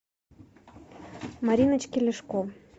мариночке ляшко